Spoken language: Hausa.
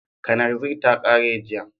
Kananzir ta kare jiya